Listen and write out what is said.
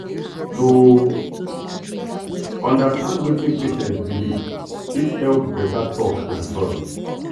to understand wetin patient believe fit help better talk and trust.